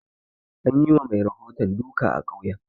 An yi wa mai rahoton duka a ƙauyen